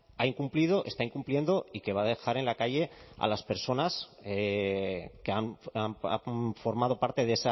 ha incumplido está incumpliendo y que va a dejar en la calle a las personas que han formado parte